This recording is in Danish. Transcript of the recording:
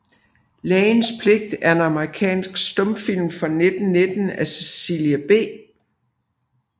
Lægens Pligt er en amerikansk stumfilm fra 1919 af Cecil B